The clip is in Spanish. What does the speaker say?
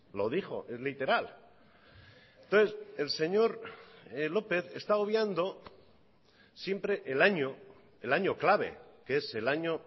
lo dijo es literal entonces el señor lópez está obviando siempre el año el año clave que es el año